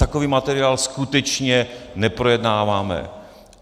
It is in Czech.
Takový materiál skutečně neprojednáváme.